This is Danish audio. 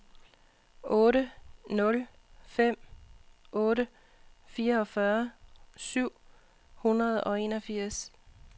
otte nul fem otte fireogfyrre syv hundrede og enogfirs